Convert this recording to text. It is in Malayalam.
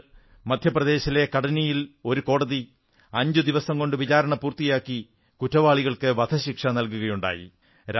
ഇതിനുമുമ്പ് മധ്യപ്രദേശിലെ കട്നിയിൽ ഒരു കോടതി അഞ്ചുദിവസംകൊണ്ട് വിചാരണ പൂർത്തിയാക്കി കുറ്റവാളികൾക്ക് വധശിക്ഷ നല്കുകയുണ്ടായി